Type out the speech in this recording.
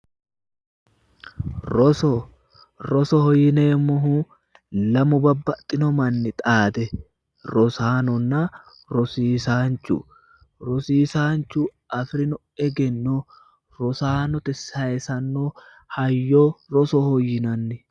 Roso, rosoho yineemmohu lamu babbaxxino manni xaade rosaannonna rosiisaanchu, rosiisaanchu afi'rino egenno rosaanote sayiisanno hayyo rosoho yinanni.